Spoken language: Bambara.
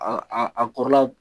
Aa a kɔrɔla